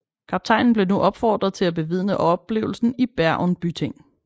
Kaptajnen blev nu opfordret til at bevidne oplevelsen i Bergen byting